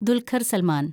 Dulquer‍ Salman‍